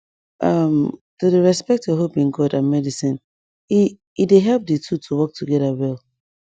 um to dey respect your hope in god and medicine e e dey help di two to work together well